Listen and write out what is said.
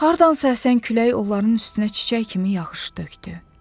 Hardansa əsən külək onların üstünə çiçək kimi yaxşı tökdü.